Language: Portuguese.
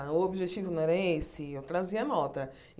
O objetivo não era esse, eu trazia nota.